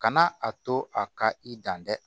Kana a to a ka i dan tɛ